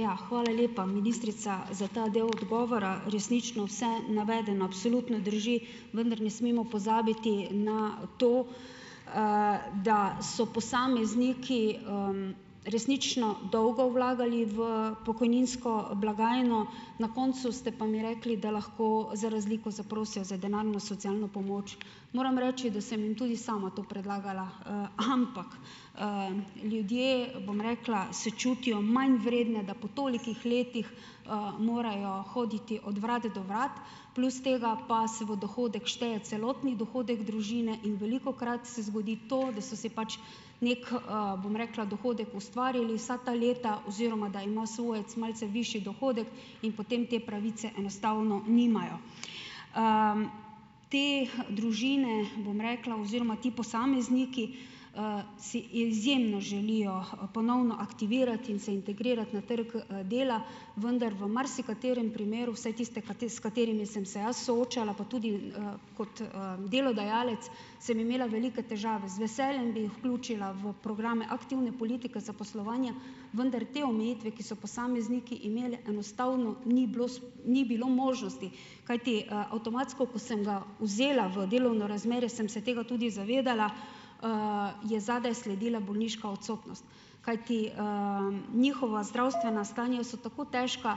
Ja, hvala lepa, ministrica, za ta del odgovora. Resnično vse navedeno absolutno drži, vendar ne smemo pozabiti na to, da so posamezniki, resnično dolgo vlagali v pokojninsko blagajno, na koncu ste pa mi rekli, da lahko za razliko zaprosijo za denarno socialno pomoč. Moram reči, da sem jim tudi sama to predlagala, ampak, ljudje, bom rekla, se čutijo manj vredne, da po tolikih letih, morajo hoditi od vrat do vrat, plus tega, pa se v dohodek šteje celotni dohodek družine in velikokrat se zgodi to, da so si pač neki, bom rekla, dohodek ustvarili vsa ta leta oziroma da ima svojec malce višji dohodek in potem te pravice enostavno nimajo. Te družine, bom rekla, oziroma ti posamezniki, si izjemno želijo ponovno aktivirati in se integrirati na trgu, dela, vendar v marsikaterem primeru, vsaj tiste s katerimi sem se jaz soočala, pa tudi, kot, delodajalec sem imela velike težave. Z veseljem bi jih vključila v programe aktivne politike zaposlovanja, vendar te omejitve, ki so posamezniki imeli, enostavno ni bilo ni bilo možnosti. Kajti, avtomatsko, ko sem ga vzela v delovno razmerje, sem se tega tudi zavedala, je zadaj sledila bolniška odsotnost, kajti, njihova zdravstvena stanja so tako težka,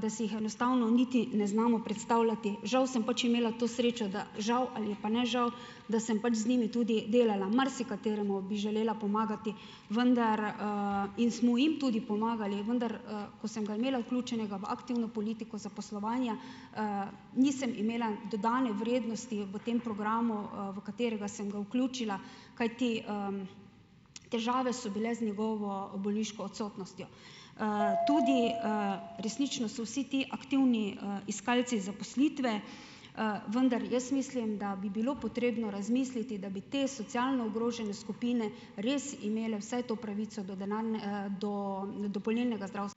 da si jih enostavno niti ne znamo predstavljati. Žal sem pač imela to srečo, da, žal ali pa ne žal, da sem pač z njimi tudi delala. Marsikateremu bi želela pomagati, vendar, in smo jim tudi pomagali, vendar, ko sem ga imela vključenega v aktivno politiko zaposlovanja, nisem imela dodane vrednosti v tem programu, v katerega sem ga vključila, kajti, težave so bile z njegovo bolniško odsotnostjo. Tudi resnično so vsi ti aktivni, iskalci zaposlitve, vendar jaz mislim, da bi bilo potrebno razmisliti, da bi te socialno ogrožene skupine res imele vsaj to pravico do do dopolnilnega ...